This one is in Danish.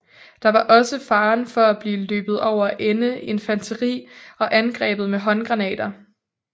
Der var også faren for at blive løbet over ende infanteri og angrebet med håndgranater